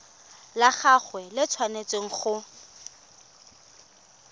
la gagwe le tshwanetse go